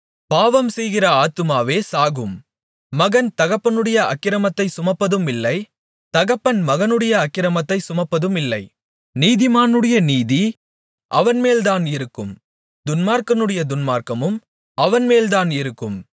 பாவம்செய்கிற ஆத்துமாவே சாகும் மகன் தகப்பனுடைய அக்கிரமத்தைச் சுமப்பதுமில்லை தகப்பன் மகனுடைய அக்கிரமத்தைச் சுமப்பதுமில்லை நீதிமானுடைய நீதி அவன்மேல் தான் இருக்கும் துன்மார்க்கனுடைய துன்மார்க்கமும் அவன்மேல் தான் இருக்கும்